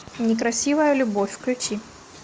некрасивая любовь включи